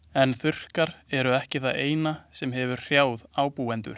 En þurrkar eru ekki það eina sem hefur hrjáð ábúendur.